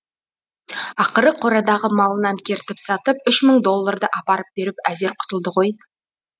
ақыры қорадағы малынан кертіп сатып үш мың долларды апарып беріп әзер құтылды ғой